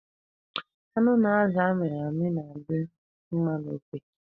Anụ na azụ a mịrị amị na-adị mma n'ofe.